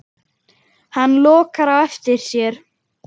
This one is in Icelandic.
Hann lokar á eftir sér.